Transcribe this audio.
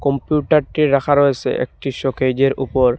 ব্লুটারটি রাখা রয়েছে একটি শোকেযের উপর।